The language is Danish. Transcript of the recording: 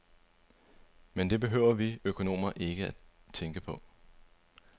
Men det behøver vi økonomer ikke tænke på.